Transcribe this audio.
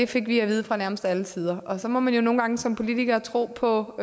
fik vi at vide fra nærmest alle sider og så må man jo nogle gange som politiker tro på